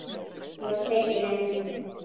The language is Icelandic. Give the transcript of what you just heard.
Ég var tekinn inn.